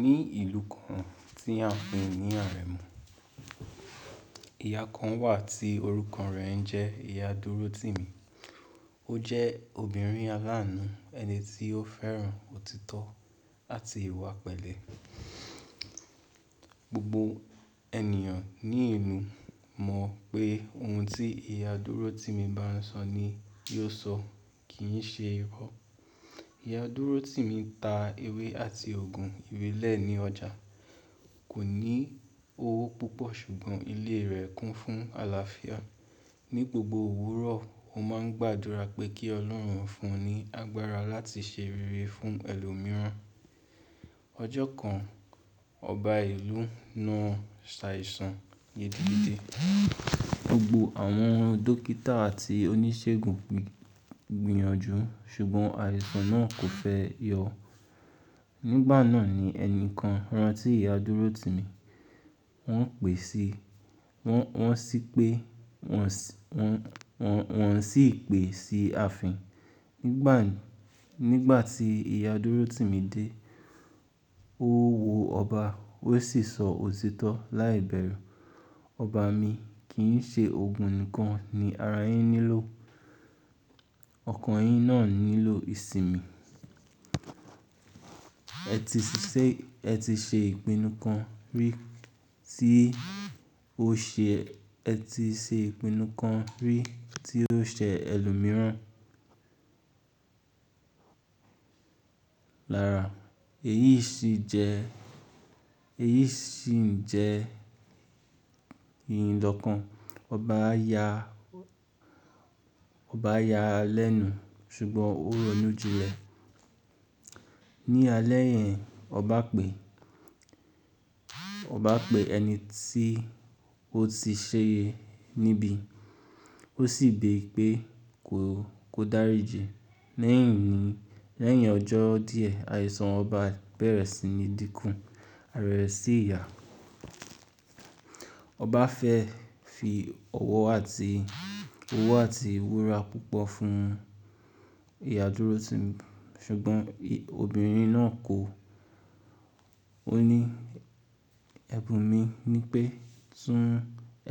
Ní ìlú kan tí a ń pe ní Aremu, ìyá kan wà tí orúkọ rẹ̀ ń jẹ́ ìyá Dúrótimì. Ó jẹ́ obìnrin aláàánú, ẹni tí ó fẹ́ràn òtítọ́ àti ìwà pẹ̀lẹ́. Gbogbo ènìyàn ní ìlú mọ̀ pé oun tí ìyá Dúrótimì bá ń sọ ni yóò sọ, kì í ṣe irọ́. Ìyá Dúrótimì ta ewé àti Ògùn ìrẹ́lẹ̀ ní ọjà, kò ní owó púpọ̀ ṣùgbọ́n ilé rẹ̀ kún fún àlàáfíà. Ní gbogbo òwúrọ̀, ó máa ń gbàdúrà pé kí Ọlọ́run fún un ní agbára láti ṣe rere fún ẹlòmíràn. Ọjọ́ kan, ọba ìlú náà ṣàìsàn iyedigbe. Gbogbo àwọn dókítà àti oníṣègùn gbìyànjú ṣùgbọ́n àìsàn náà kò fẹ́ yọ. Nígbà náà ni ẹni kan rán tí ìyá Dúrótimì. Wọ́n pè sí, wọ́n, wọ́n sì pé wọ́n sì, wọ́n, wọ́n sì pè sí ààfin. Nígbà, nígbà tí ìyá Dúrótimì dé, ó wọ ọba ó sì sọ òtítọ́ láìbẹ̀rù. "Ọba mi, kì í ṣe Ògùn nìkan ni ara yín nílò, ọkàn yín náà nílò ìsìnmi. Ẹti ṣiṣẹ́, ẹ ti ṣe ìpinnu kan rí tí ó ṣe, ẹ ti ṣe ìpinnu kan rí tí ó ṣe ẹlòmíràn lára. Èyí sì jẹ, èyí sì ń jẹ yìn lọ̀kan." Ọba ya, ọba ya lẹ́nu ṣùgbọ́n ó ronú jinlẹ̀. Ni alẹ́ yẹn, ọba pè, ọba pè ẹni tí ó ti ṣe e níbí, ó sì béèrè pé kó, kó dáríjì. Lẹ́yìn ní, lẹ́yìn ọjọ́ díẹ̀, àìsàn ọba bẹ̀rẹ̀ sí ní dínkù, àrẹ̀rẹ̀ sì yà. Ọba fẹ́ fi ọwọ́ àti, owó àti wura púpọ̀ fún ìyá Dúrótimì ṣùgbọ́n obìnrin náà kọ, ó ní, "Ẹ̀bùn mi ni pé tún,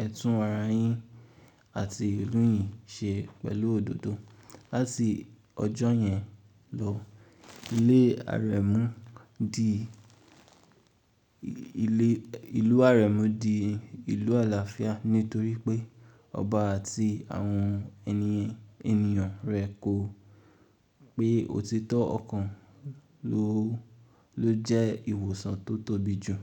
ẹ tún ara yín àti ìròyìn ṣe pẹ̀lú òdodo." Láti ọjọ́ yẹn lọ, ilé Aremu di, ilé, ìlú Aremu di ìlú àlàáfíà nítorí pé ọba àti àwọn ènìyàn rẹ̀ ko pé òtítọ́ ọ̀kan ló, ló jẹ́ ìwòsàn tó tóbi jù.